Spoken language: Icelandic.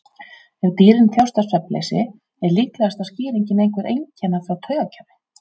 Ef dýrin þjást af svefnleysi er líklegasta skýringin einhver einkenni frá taugakerfi.